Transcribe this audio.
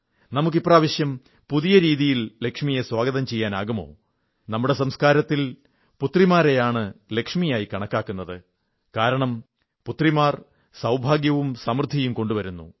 നമുക്ക് ഇപ്രാവശ്യം പുതിയ രീതിയിൽ ലക്ഷ്മിയെ സ്വാഗതം ചെയ്യാനാകുമോ നമ്മുടെ സംസ്കാരത്തിൽ പുത്രിമാരെയാണ് ലക്ഷ്മിയായി കണക്കാക്കുന്നത് കാരണം പുത്രിമാർ സൌഭാഗ്യവും സമൃദ്ധിയും കൊണ്ടുവരുന്നു